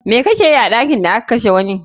Me kakeyi a ɗakin da aka kashe wani?